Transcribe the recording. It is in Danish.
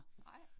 Nej